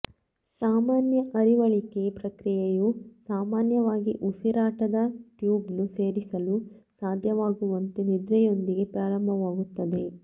ಸಾಮಾನ್ಯ ಅರಿವಳಿಕೆ ಪ್ರಕ್ರಿಯೆಯು ಸಾಮಾನ್ಯವಾಗಿ ಉಸಿರಾಟದ ಟ್ಯೂಬ್ನ್ನು ಸೇರಿಸಲು ಸಾಧ್ಯವಾಗುವಂತೆ ನಿದ್ರೆಯೊಂದಿಗೆ ಪ್ರಾರಂಭವಾಗುತ್ತದೆ